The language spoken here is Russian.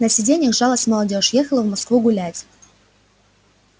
на сиденьях жалась молодёжь ехала в москву гулять